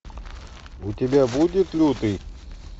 у тебя будет лютый